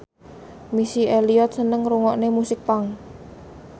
Missy Elliott seneng ngrungokne musik punk